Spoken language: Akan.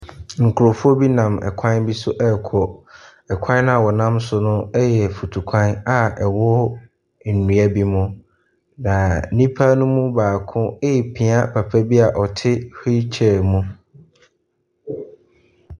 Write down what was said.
Nkurɔfoɔ bi nam kwan bi so rekɔ. Kwan no a wɔnam so no yɛ mfutukwan a ɛwɔ nnua bi mu. Na nnipano mu baako repia papa bi a ɔte wheel chair mu.